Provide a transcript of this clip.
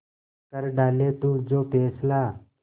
कर डाले तू जो फैसला